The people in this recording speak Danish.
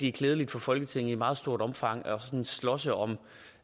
er klædeligt for folketinget sådan i meget stort omfang at slås om